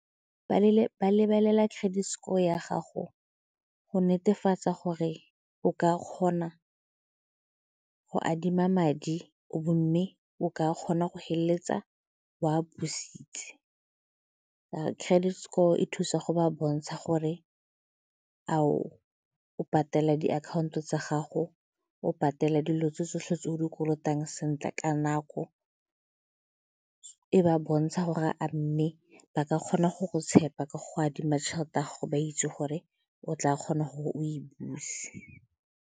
Ba lebelela credit score ya gago go netefatsa gore o ka kgona go adima madi, or mme o ka kgona go feleletsa o a busitse credit score e thusa go ba bontsha gore a o o patela diakhaonto tsa gago, o patela dilo tse tsotlhe tse o di kolotang sentle nako, e ba bontsha gore a mme ba ka kgona go go tshepa ka go adima tšhelete ya gago ba itse gore o tla kgona gore o e buse.